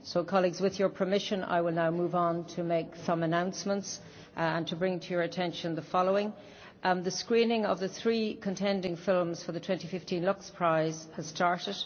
Colleagues, with your permission I will now move on to make some announcements and bring to your attention the following The screening of the three contending films for the 2015 Lux Prize has started.